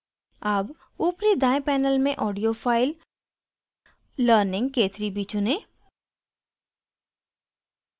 अब ऊपरी दायें panel में audio file learningk3b चुनें